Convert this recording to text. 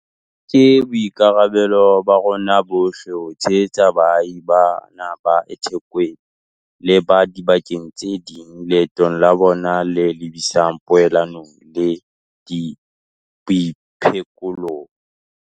Ke boikarabelo ba rona bohle ho tshehetsa baahi bana ba eThekwini le ba diba keng tse ding leetong la bona le lebisang poelanong le boiphekolong.